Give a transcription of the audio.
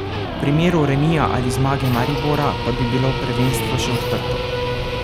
V primeru remija ali zmage Maribora pa bi bilo prvenstvo še odprto.